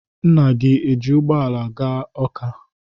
Nna esi ụgbọala gaa Ọ́ká?